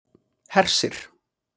Hersir